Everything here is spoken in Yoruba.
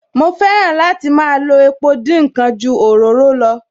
Mo fẹ́ràn láti máa lo epo dín ǹkan ju òróró lọ